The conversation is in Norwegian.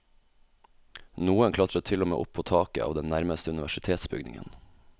Noen klatret til og med opp på taket av den nærmeste universitetsbygningen.